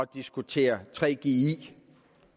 diskutere gggi